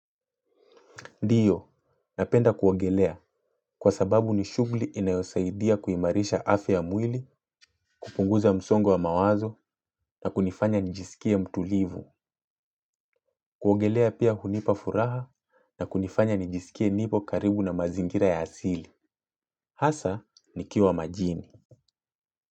Ndiyo, napenda kuogelea kwa sababu ni shughuli inayosaidia kuhimarisha afya ya mwili, kupunguza msongo wa mawazo na kunifanya njisikie mtulivu. Kuogelea pia hunipa furaha na kunifanya njisikie nipo karibu na mazingira ya asili. Hasa, nikiwa majini.